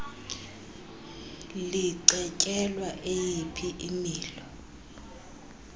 licetyelwa eyiphi imilo